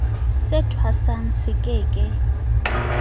se thwasang se ke ke